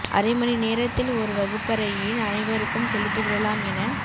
அரை மணி நேரத்தில் ஒரு வகுப்பறையின் அனைவருக்கும் செலுத்தி விடலாம் என